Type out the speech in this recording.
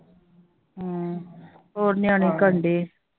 ਹੋਰ ਨਿਆਣੇ ਕੀ ਕਰਦੇ?